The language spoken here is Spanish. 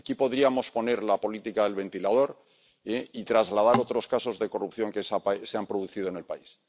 Aquí podríamos poner la política del ventilador y trasladar otros casos de corrupción que se han producido en el país.